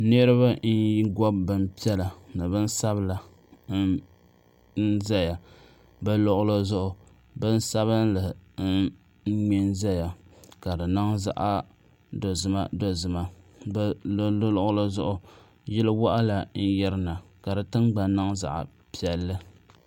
niriba n gobi bin piɛla n ʒɛya bɛ luɣulizuɣu bin sabinli n mɛ n zaya ka di niŋ zaɣi dozimadozima di luɣili zuɣu yili waɣala n yirina ka di tingban niŋ zaɣi piɛli